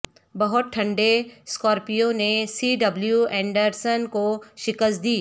بہت ٹھنڈے سکورپیو نے سی ڈبلیو اینڈرسن کو شکست دی